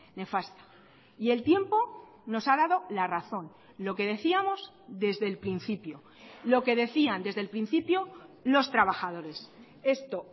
nefasta y el tiempo nos ha dado la razón lo que decíamos desde el principio lo que decían desde el principio los trabajadores esto